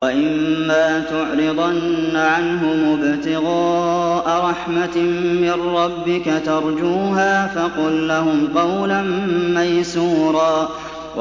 وَإِمَّا تُعْرِضَنَّ عَنْهُمُ ابْتِغَاءَ رَحْمَةٍ مِّن رَّبِّكَ تَرْجُوهَا فَقُل لَّهُمْ قَوْلًا مَّيْسُورًا